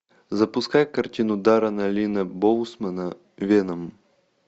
запускай картину даррена линна боусмана веном